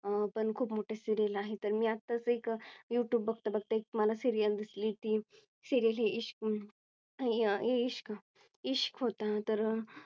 अं पण खूप मोठे Serial आहे तर मी आत्ताच एक Youtube बघता बघता मला एक Serial दिसली. ती Serail ही इश्क इश्क होता तर